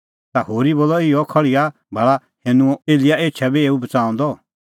ता होरी बोलअ इहअ कि खल़्हिया भाल़ा हैनूं कि एलियाह एछा बी एऊ बच़ाऊंदअ